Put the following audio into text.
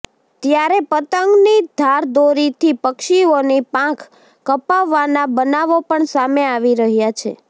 ત્યારે પતંગની ધારદોરીથી પક્ષીઓની પાંખ કપાવાના બનાવો પણ સામે આવી રહ્યાં છે